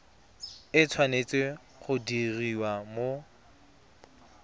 e tshwanetse go diriwa mo